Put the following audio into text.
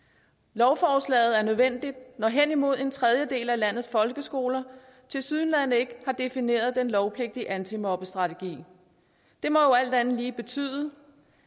lovforslaget er nødvendigt når henimod en tredjedel af landets folkeskoler tilsyneladende ikke har defineret den lovpligtige antimobbestrategi det må jo alt andet lige betyde